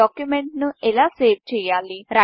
డాక్యుమెంట్ను ఎలా సేవ్ చేయాలి